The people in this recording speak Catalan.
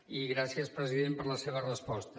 i gràcies president per la seva resposta